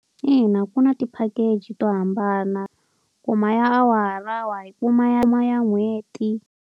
Ina ku na ti-package to hambana. Kuma ya awara, wa yi kuma ya ya n'hweti.